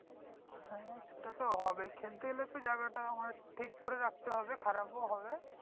হ্যাঁ ওটা তো হবেই খেলতে গেলে তো জায়গা তা ঠিক করে রাখতে হবে খারাপও হবে